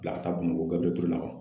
Bila ka taa Bamakɔ Gabiriyɛli Ture la